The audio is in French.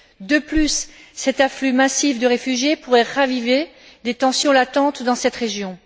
De plus, cet afflux massif de réfugiés pourrait raviver des tensions latentes dans cette région.